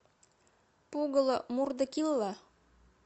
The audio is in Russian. пугало мурда килла